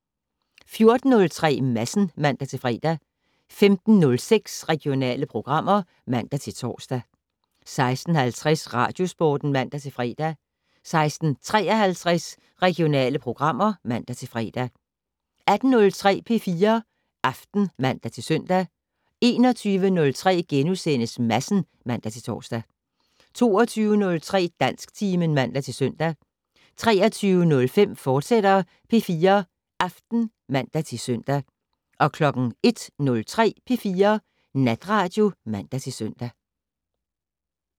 14:03: Madsen (man-fre) 15:06: Regionale programmer (man-tor) 16:50: Radiosporten (man-fre) 16:53: Regionale programmer (man-fre) 18:03: P4 Aften (man-søn) 21:03: Madsen *(man-tor) 22:03: Dansktimen (man-søn) 23:05: P4 Aften, fortsat (man-søn) 01:03: P4 Natradio (man-søn)